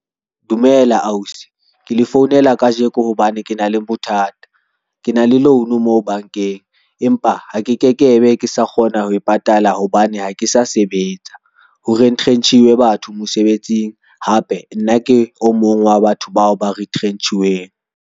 Dumela ausi, ke le founela kajeko hobane ke na le bothata. Ke na le loan moo bankeng, empa ha ke ke ke be ke sa kgona ho e patala hobane ha ke sa sebetsa ho retrench-iwe batho mosebetsing hape nna ke o mong wa batho bao ba retrench-iweng.